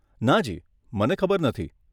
નાજી, મને ખબર નથી.